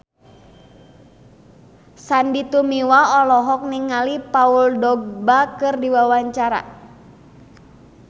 Sandy Tumiwa olohok ningali Paul Dogba keur diwawancara